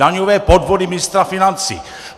Daňové podvody ministra financí!